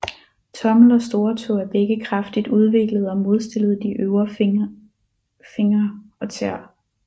Tommel og storetå er begge kraftigt udviklet og modstillet de øvrige fingre og tæer